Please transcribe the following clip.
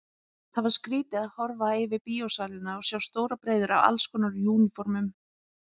Það var skrýtið að horfa yfir bíósalina og sjá stórar breiður af allskonar úniformum.